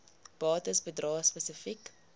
bates bedrae spesifiek